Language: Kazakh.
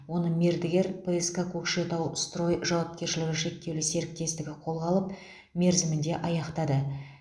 оны мердігер пск кокшетау строй жауапкершілігі шектеулі серіктестігі қолға алып мерзімінде аяқтады